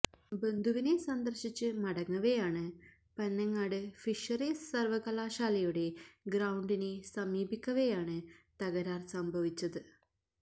ബന്ധുവിനെ സന്ദർശിച്ച് മടങ്ങവേയാണ് പനങ്ങാട് ഫിഷറീസ് സർവകലാശാലയുടെ ഗ്രൌണ്ടിനെ സമീപിക്കവേയാണ് തകരാർ സംഭവിച്ചത്